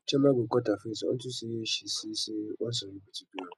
chioma go cut her face unto say she see say one celebrity do am